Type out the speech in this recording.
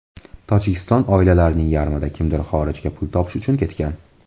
Tojikiston oilalarining yarmida kimdir xorijga pul topish uchun ketgan.